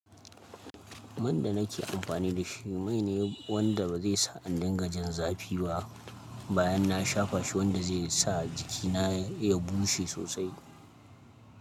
Man da nake amfani da shi mai ne wanda ba zai sa indin gajin zafi ba, bayan na shafa shi wanda zai sa jikina ya bushe sosai.